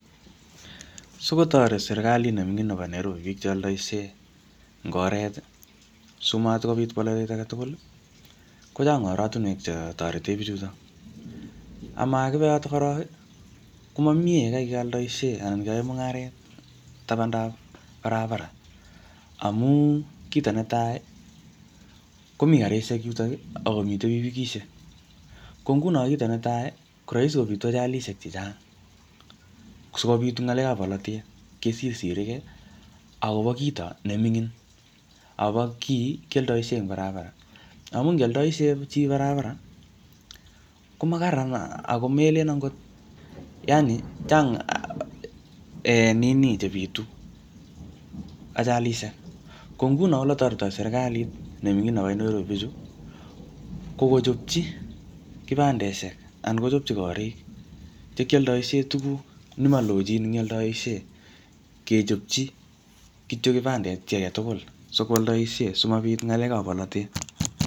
Sikotoret serikalit ne ming'in nebo Nairobi biik che aldoishie eng oret, simatkobit bolotet age tugul, kochang oratunwek che torete bichuto. Amakibe yotok korok, komamie yekai kealdosihie anan keyae mung'aret tabandab barabara. Amu kito netai, komitei karishek yutok, akomitei pikipikishek. Ko nguno kito netai, ko rahisi kobitu ajalishek chechang, sikobit ngalekab bolotet, kesirsirikey akobo kito ne mingin, abo kiiy kialdoishie eng barabara. Amuu ndialdoishei chi barabara, ko makararan ako melen angot, yaani, chang um nini che bitu, ajalishek. Ko nguno ole toretitoi serikalit ne ming'in nebo Nairobi bichu, ko kochopchi kibandeshek anan kochopchi korik che kialdaishe tuguk ne malochin eng yaldoishe. Kechopchi kityo kibandet chi age tugul, sikwoldoishe, simabit ngalekab bolotet.